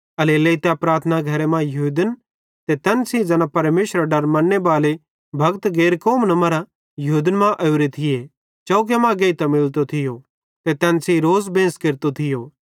एल्हेरेलेइ तै प्रार्थना घरे मां यहूदन ते तैन सेइं ज़ैना परमेशरेरो डर मन्नेबाले भक्त गैर कौमन मरां यहूदन मां ओरे थिये चौके मां गेइतां मिलतो थियो ते तैन सेइं रोज़ बेंस केरतो थियो